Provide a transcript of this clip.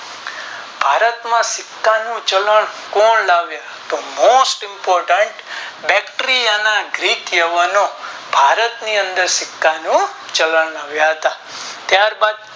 ભારત માં સિક્કા નું ચલણ કોણ લાવ્યું તો Most Impotent બતરીયાના ગ્રીક લેવાનો ભારત ની અંદર સિક્કા નું ચલણ લાવ્યા હતા ત્યાર બાદ